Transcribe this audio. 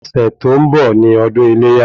Ọ̀sẹ̀ tó ń bọ̀ ni ọdún iléyá